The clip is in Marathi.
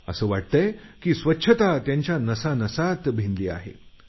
असं वाटतंय की स्वच्छता त्यांच्या नसानसात भिनली आहे